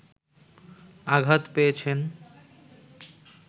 আঘাত পেয়েছেন